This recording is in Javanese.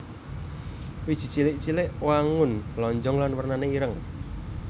Wiji cilik cilik wangun lonjong lan wernané ireng